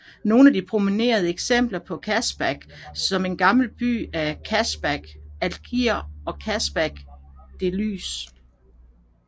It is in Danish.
Nogle af de prominente eksempler på kasbah som en gammel by er Casbah of Algiers og Casbah of Dellys